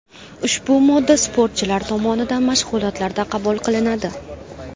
Ushbu modda sportchilar tomonidan mashg‘ulotlarda qabul qilinadi.